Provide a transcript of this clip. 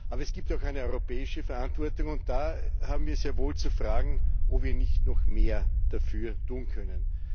Aber es gibt auch eine europäische Verantwortung, und da haben wir sehr wohl zu fragen, ob wir nicht noch mehr dafür tun können.